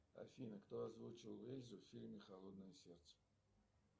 афина кто озвучивал эльзу в фильме холодное сердце